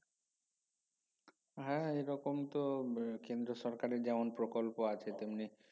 হ্যা এরকম তো কেন্দ্রীয় সরকারের যেমন প্রকল্প আছে তেমনি